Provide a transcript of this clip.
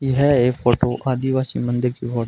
यह एक फोटो आदिवासी मंदिर की फो--